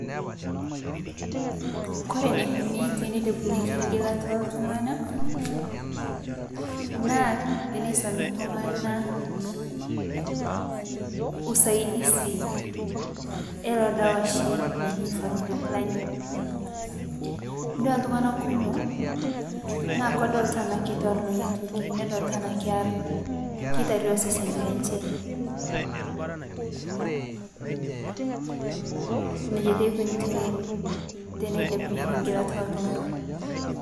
Kore neikonii teneilepunyekii ng'ilata eltung'ana naa teneisomi ltung'ana usaidiz eloo dawa shii lojii family planning, itodua ltung'ana kumoo naa kedoltaa anaa keitornoo inia tokii nedoltaa anaa kear keitaruo sesenii lenshee, Nejaa taa eikoni tene teneilepunyeki ng'ilata eltungana.